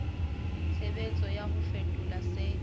tshebetso ya ho fetola se